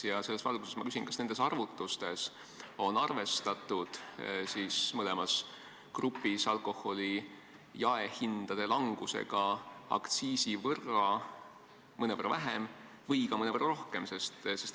Ja selles valguses ma küsin: kas nendes arvutustes on arvestatud mõlemas grupis alkoholi jaehindade langusega aktsiisi võrra, mõnevõrra vähem või hoopis mõnevõrra rohkem?